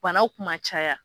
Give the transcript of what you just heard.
Banaw kun ma caya.